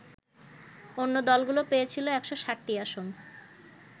অন্য দলগুলো পেয়েছিল ১৬০টি আসন